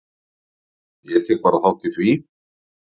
Ég tek bara þátt í því.